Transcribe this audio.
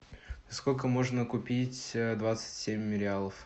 сколько можно купить двадцать семь мириалов